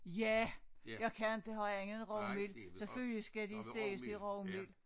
Ja jeg kan inte have andet end rugmel selvfølgelig skal de steges i rugmel